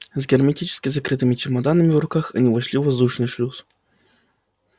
с герметически закрытыми чемоданами в руках они вошли в воздушный шлюз